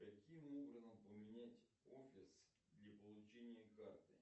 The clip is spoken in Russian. каким образом поменять офис для получения карты